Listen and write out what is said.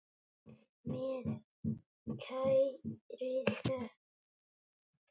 Með kærri þökk.